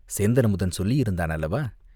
சேந்தன்அமுதன் சொல்லியிருந்தான் அல்லவா?